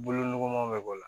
Bolo nɔgɔman bɛ bɔ a la